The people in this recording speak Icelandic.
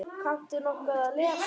Kanntu nokkuð að lesa?